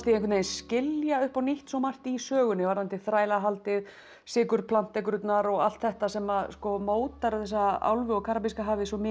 einhvern veginn skilja upp á nýtt svo margt í sögunni varðandi þrælahaldið sykurplantekrurnar og allt þetta sem mótar þessa álfu og Karabíska hafið svo